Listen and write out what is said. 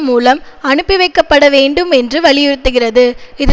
மூலம் அனுப்பிவைக்கப்பட வேண்டும் என்று வலியுறுத்துகிறது இது